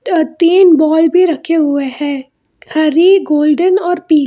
अ तीन बॉल भी रखे हुए हैं हरी गोल्डन और पीली।